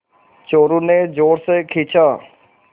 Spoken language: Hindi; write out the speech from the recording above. चोरु ने और ज़ोर से खींचा